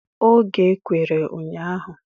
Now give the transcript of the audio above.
Oge e kwere ụnyaahụ.